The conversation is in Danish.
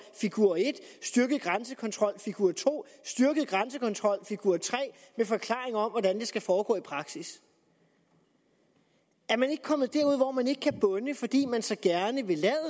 figur en styrket grænsekontrol figur to styrket grænsekontrol figur tre med forklaringer om hvordan det skal foregå i praksis er man ikke kommet derud hvor man ikke kan bunde fordi man så gerne vil lade